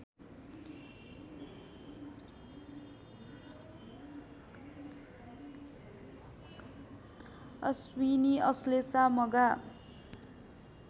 Ashwini Ashlesha Magha